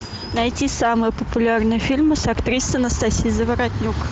найти самые популярные фильмы с актрисой анастасией заворотнюк